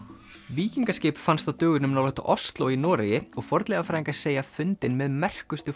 víkingaskip fannst á dögunum nálægt Osló í Noregi og fornleifafræðingar segja fundinn með merkustu